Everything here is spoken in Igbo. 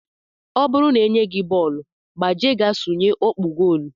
Ọ bụrụ na e nye gị bọọlụ, gbaje ga sụnye ọkpụ gool!